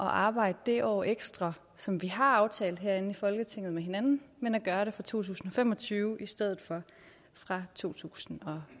arbejde det år ekstra som vi har aftalt herinde i folketinget med hinanden men at gøre det fra to tusind og fem og tyve i stedet for fra to tusind og